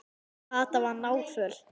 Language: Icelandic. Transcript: Kata var náföl.